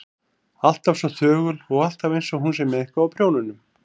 Alltaf svo þögul og alltaf einsog hún sé með eitthvað á prjónunum.